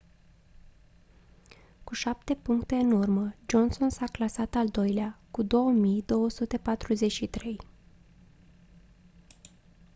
cu șapte puncte în urmă johnson s-a clasat al doilea cu 2243